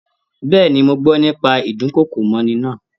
Bẹ́ẹ̀ni, mọ gbọ́ nípa ídùnkokò mọ́'ni náà